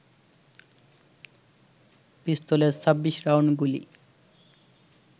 পিস্তলের ২৬ রাউন্ড গুলি